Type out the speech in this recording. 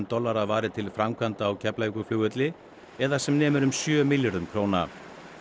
dollara varið til framkvæmda á Keflavíkurflugvelli eða sem nemur um sjö milljörðum króna